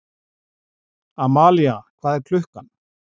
Amalía, hvað er klukkan?